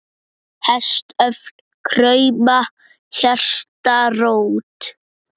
Hestöfl krauma, hjarta rótt.